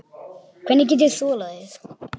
Hef hann enn.